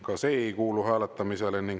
Ka see ei kuulu hääletamisele.